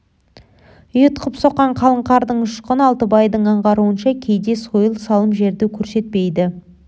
ұйытқып соққан қалың қардың ұшқыны алтыбайдың аңғаруынша кейде сойыл салым жерді көрсетпейді